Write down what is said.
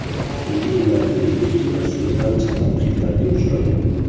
So‘nggi yillarda o‘zbek kinosi ancha tanqidlarga uchradi.